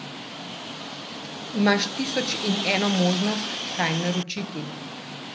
Imaš tisoč in eno možnost, kaj naročiti.